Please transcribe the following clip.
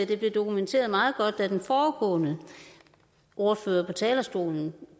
det blev dokumenteret meget godt da den foregående ordfører på talerstolen